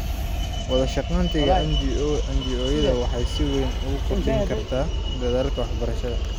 Wadashaqeynta NGO-yadu waxay si weyn u kordhin kartaa dadaalka waxbarashada.